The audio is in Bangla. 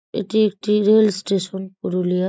এটি একটি রেল স্টেশন পুরুলিয়া--